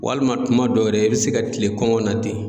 Walima kuma dɔw yɛrɛ i bɛ se ka kile kɔngɔ na ten.